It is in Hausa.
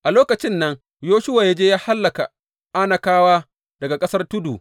A lokacin nan Yoshuwa ya je ya hallaka Anakawa daga ƙasar tudu.